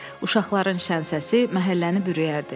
Uşaqların şən səsi məhəlləni bürüyərdi.